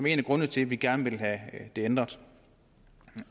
en af grundene til at vi gerne vil have den ændret